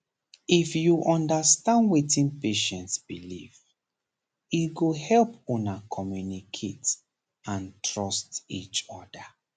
if you understand wetin patient believe e go help una communicate and trust each other